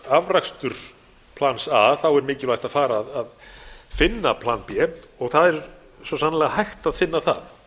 afrakstur plans a þá er mikilvægt að fara að finna plan b og það er svo sannarlega hægt að finna það